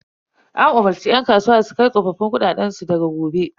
An umarce yan kasuwa da su kai tsoffin kuɗaɗen su banki daga gobe.